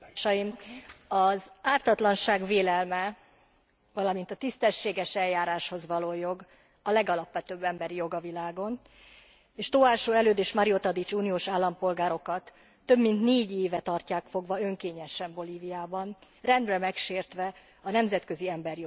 Az ártatlanság vélelme, valamint a tisztességes eljáráshoz való jog a legalapvetőbb emberi jog a világon, és Tóásó Előd és Mario Tadic uniós állampolgárokat több mint 4 éve tartják fogva önkényesen Bolíviában, rendre megsértve a nemzetközi emberi jogi normákat.